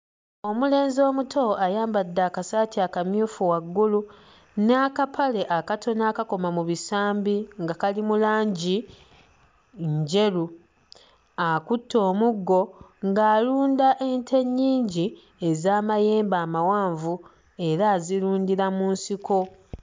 Omulenzi omuto ayambadde akasaati akamyufu waggulu n'akapale akatono akakoma mu bisambi nga kali mu langi njeru. Akutte omuggo ng'alunda ente ennyingi ez'amayembe amawanvu era azirundira mu nsiko.